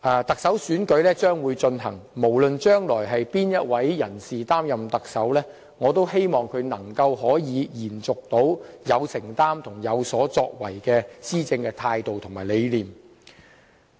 特首選舉即將舉行，無論將來是哪位人士擔任特首，我也希望他能夠延續有承擔和有所作為的施政態度和理念。